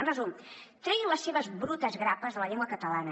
en resum treguin les seves brutes grapes de la llengua catalana